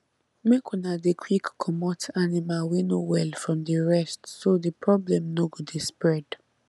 make una dey quick comot animal wey no well from the rest so the problem no go dey spread